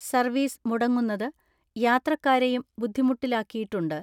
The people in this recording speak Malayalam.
സർവ്വീസ് മുടങ്ങുന്നത് യാത്രക്കാരെയും ബുദ്ധിമുട്ടിലാക്കിയിട്ടുണ്ട്.